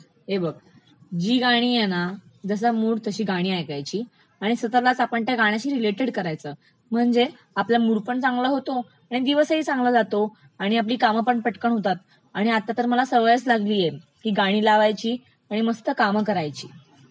हे बघ जी गाणी आहेत ना, जसा मूड तशी गाणी ऐकायची, आणि स्वतःलाच आपण त्या गाण्याशी रिलेटेड करायच म्हणजे आपला मूडपण चांगला होता, आणि दिवसही चांगला जातो, आणि आपली कामपण पटकन होतात, आणि आता तर मला सवयच लागलीय की गाणी लावायची आणि मस्त कामं करायची.